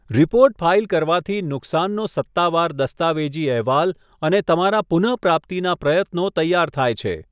Report file કરવાથી નુકસાનનો સત્તાવાર દસ્તાવેજી અહેવાલ અને તમારા પુનઃપ્રાપ્તિના પ્રયત્નો તૈયાર થાય છે.